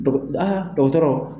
Dɔgɔ aa dɔgɔtɔrɔ